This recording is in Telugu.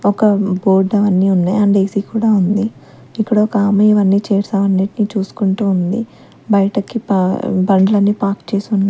ఒక బోర్డ్ అవన్నీ ఉన్నాయి అండ్ ఏ_సి కూడా ఉంది ఇక్కడ ఒక ఆమె ఇవన్నీ చైర్స్ అవన్నిటిని చూసుకుంటూ ఉంది బయటకి పా బండ్లన్నీ పార్క్ చేసి ఉన్నాయ్.